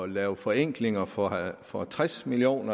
lave forenklinger for for tres million